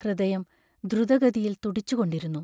ഹൃദയം ദ്രുതഗതിയിൽ തുടിച്ചുകൊണ്ടിരുന്നു.